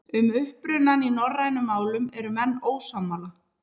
Um upprunann í norrænum málum eru menn ósammála.